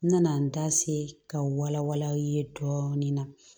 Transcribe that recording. N nana n da se ka wala wala aw ye dɔɔnin na